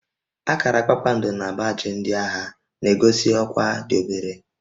Akara kpakpando na baajị ndị agha na-egosi ọkwá dị obere